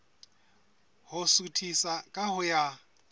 ho suthisa ka ho ya